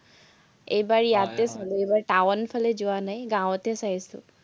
এইবাৰ ইয়াত টাওন ফালে যোৱা নাই, গাঁৱতে চাইছো।